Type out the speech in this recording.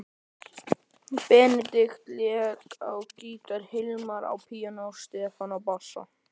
Benedikt lék á gítar, Hilmar á píanó, Stefán á bassa.